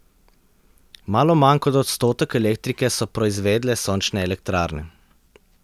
Malo manj kot odstotek elektrike so proizvedle sončne elektrarne.